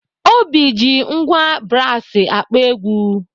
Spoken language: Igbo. Obi ji ngwá brasi akpọ egwu.